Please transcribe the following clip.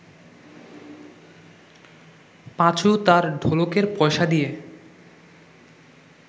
পাঁচু তার ঢোলকের পয়সা দিয়ে